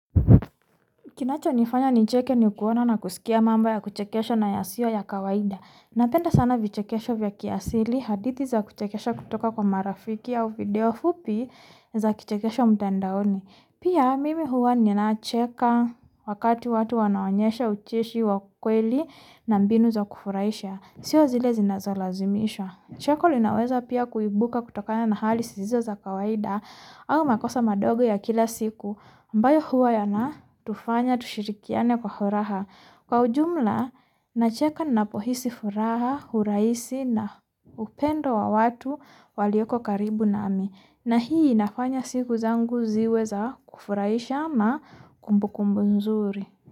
Kinachonifanya nicheke ni kuona na kuskia mambo ya kuchekesha na yasio ya kawaida. Napenda sana vichekesho ya kiasili, hadithi za kuchekesha kutoka kwa marafiki au video fupi za kichekesho mtandaoni. Pia mimi huwa ninacheka wakati watu wanaonyesha ucheshi wa kweli na mbinu za kufurahisha. Sio zile zinazolazimisha. Cheko linaweza pia kuibuka na hali zisizo za kawaida, ama makosa madogo ya kila siku, ambayo huwa yanatufanya tushirikiane kwa furaha. Kwa ujumla, nacheka ninapohisi furaha, urahisi na upendo wa watu walioko karibu nami. Na hii nafanya siku zangu ziwe za kufurahisha ama kumbukumbu nzuri.